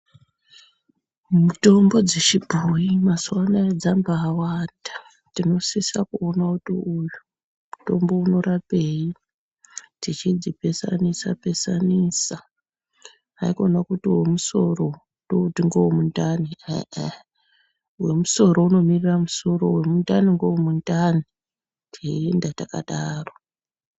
Mitombo dzechibhoyi mazuwa anaya dzambawanda. Dzinosisa kuono kuti uyu mutombo unorapei, tichidzipesanisa pesanisa. Haikona kuti wemusoro ndouti ngowomundani, ah ah wemusoro unomirira musoro, wemundani ngewemundani, teyienda takadaro.